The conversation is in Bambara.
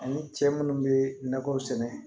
Ani cɛ munnu be nakɔw sɛnɛ